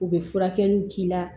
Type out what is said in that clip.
U bɛ furakɛliw k'i la